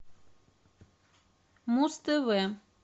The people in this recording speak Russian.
муз тв